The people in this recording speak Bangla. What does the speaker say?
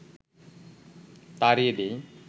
তাড়িয়ে দেয়